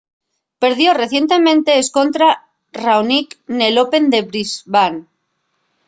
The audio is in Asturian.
perdió recientemente escontra raonic nel open de brisbane